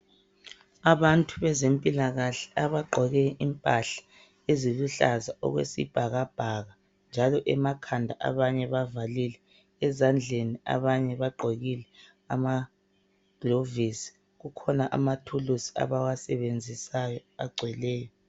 Abantu bezempilakahle abagqoke impahla eziluhlaza okwesibhakabhaka njalo emakhanda abanye bavalile. Ezandleni abanye bagqokile amagilovisi. Kukhuna amathulusi abawasebenzisayo agcweleyo.